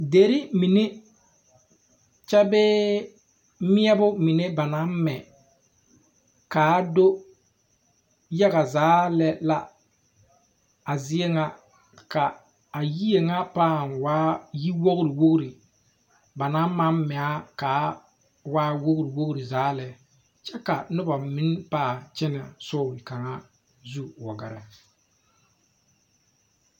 Derre mine kyɛ bee mɛɛbo mine ba naŋ mɛ kaa do yaga zaa lɛ la a zie ŋa ka a yie ŋa pãã waa yi wogre wogre banaŋ maŋ mɛaa kaa waa wogre wogre zaa lɛ kyɛ ka nobɔ meŋ pãã kyɛnɛ sori kaŋa zu wa gɛrɛ.